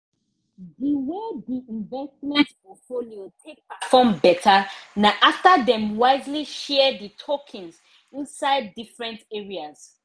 di way the investment portfolio take perform better na after dem wisely share the tokens inside different areas